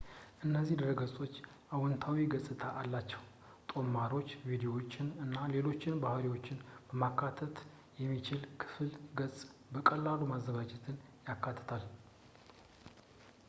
እነዚህ ድረገጾች አዎንታዊ ገጽታ አላቸው ጦማሮችን ቪድዮዎችን እና ሌሎች ባሕሪዎችን ማካተት የሚችል የክፍል ገጽን በቀላሉ ማዘጋጀትን ያካትታል